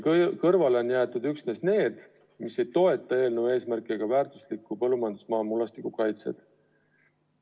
Kõrvale on jäetud üksnes need, mis ei toeta eelnõu eesmärki, väärtusliku põllumajandusmaa mullastiku kaitset.